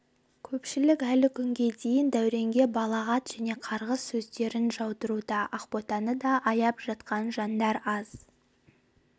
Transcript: көпшілік әлі күнге дейін дәуренге балағат және қарғыс сөздерін жаудыруда ақботаны да аяп жатқан жандар аз